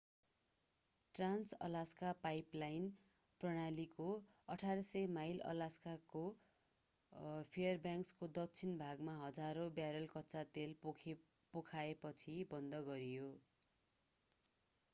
Trans-Alaska pipeline प्रणालीको 800 mile अलास्काको फेयरब्याङ्क्सको दक्षिणी भागमा हजारौं ब्यारल कच्चा तेल पोखिएपछि बन्द गरिए